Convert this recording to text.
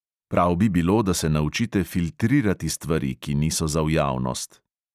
Prav bi bilo, da se naučite filtrirati stvari, ki niso za v javnost.